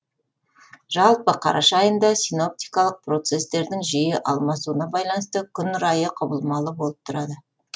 жалпы қараша айында синоптикалық процесстердің жиі алмасуына байланысты күн райы құбылмалы болып тұрады